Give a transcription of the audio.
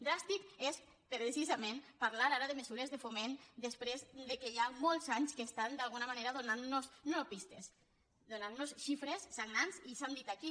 dràstic és precisament parlar ara de mesures de foment després que ja fa molts anys que estan d’alguna manera donantnos no pistes donantnos xifres sagnants i s’han dit aquí